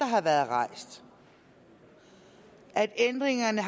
har været rejst at ændringerne